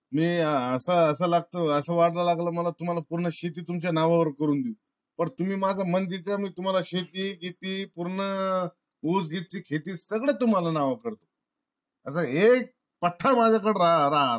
मी अस वागाय लागला. मला अस वाट्य लागलाय कि पूर्ण शेती तुमच्या नावावर करून देऊ. पण तुम्ही माझा मन जिंका. मी तुम्हाला शेती बेटी पूर्ण ऊस बीस चि शेती सगळ तुमच्या नावावर करतो. आता हे पठठ्या माझ्या कड राहा,